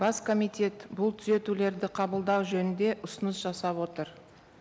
бас комитет бұл түзетулерді қабылдау жөнінде ұсыныс жасап отыр